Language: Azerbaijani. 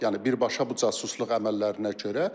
Yəni birbaşa bu casusluq əməllərinə görə.